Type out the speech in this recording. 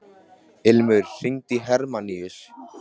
Ilmur, hringdu í Hermanníus.